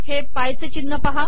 हे पाय चे िचनह पहा